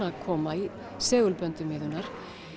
að koma í segulböndum Iðunnar